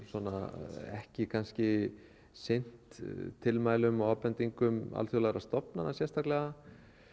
svona ekki kannski sinnt tilmælum og ábendingum alþjóðlegra stofnana sérstaklega